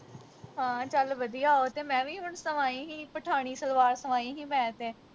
ਹਾਂ ਚੱਲ ਵਧੀਆ ਉਹ ਤੇ ਮੈਂ ਵੀ ਹੁਣ ਸਵਾਈ ਹੀ ਪਠਾਣੀ ਸਲਵਾਰ ਸਵਾਈ ਹੀ ਮੈਂ ਤੇ